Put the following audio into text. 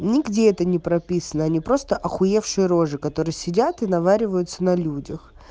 нигде это не прописано они просто охуевшие рожи которые сидят и наваливаются на людях